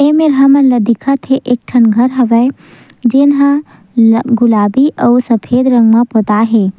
एमेर हमन ल दिखत हे एक ठन घर हवय जेन ह गुलाबी आऊ सफेद रंग म पोताये हे।